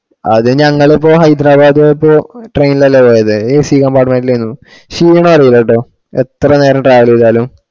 അത് ഞങ്ങള് ഇപ്പൊ ഹൈദരാബാദ്‌ പോയപ്പൊ train അല്ലെ പോയെ accompartment ലേനും ഷീണം അറീലട്ടോ എത്ര നേരം travel ചെയ്‌താലും